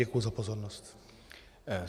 Děkuji za pozornost.